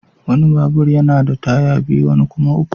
Wani babur yana da taya biyu wani kuma uku.